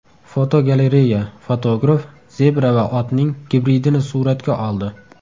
Fotogalereya: Fotograf zebra va otning gibridini suratga oldi.